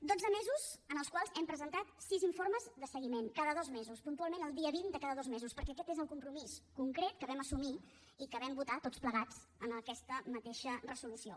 dotze mesos en els quals hem presentat sis informes de seguiment cada dos mesos puntualment el dia vint de cada dos mesos perquè aquest és el compromís concret que vam assumir i que vam votar tots plegats en aquesta mateixa resolució